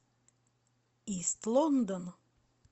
ист лондон